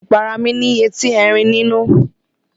Ìpara mí ní etí Erin nínú.